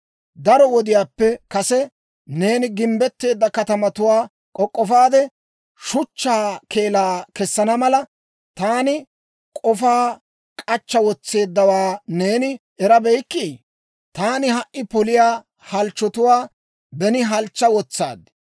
«Daro wodiyaappe kase, neeni gimbbetteedda katamatuwaa k'ok'k'ofaade, shuchchaa keelaa kessana mala, taani k'ofaa k'achcha wotseeddawaa neeni erabeykkii? Taani ha"i poliyaa halchchotuwaa, beni halchcha wotsaad.